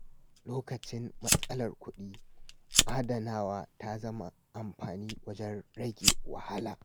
Lokacin matsalar kuɗi, adanawa ta zama abin amfani wajen rage wahala.